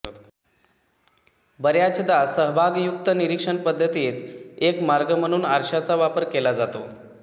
बऱ्याचदा सहभागयुक्त निरीक्षण पद्धतीत एक मार्ग म्हणून आरशाचा वापर केला जातो